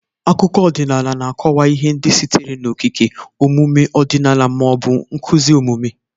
Akụkọ ọdịnala na-akọwa ihe ndị sitere n'okike, omume ọdịnala, ma ọ bụ nkuzi omume.